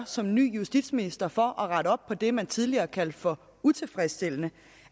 som ny justitsminister for at rette op på det man tidligere kaldte for utilfredsstillende